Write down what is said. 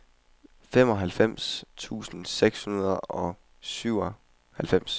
femoghalvfems tusind seks hundrede og syvoghalvfems